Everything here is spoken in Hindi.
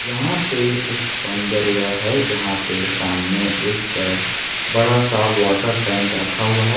यहां पे एक सौंदर्य है जहां पे सामने एक बड़ा सा वाटर टैंक रखा हुआ है।